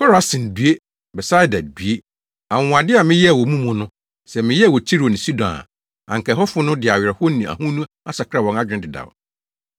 “Korasin, due! Betsaida, due! Anwonwade a meyɛɛ wɔ mo mu no, sɛ meyɛɛ wɔ Tiro ne Sidon a, anka ɛhɔfo no de awerɛhow ne ahonu asakra wɔn adwene dedaw.